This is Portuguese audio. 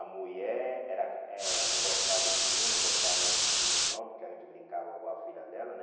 A mulher era ca eh não gostava de mim, não gostava do meu irmão, porque a gente brincava com a filha dela, né?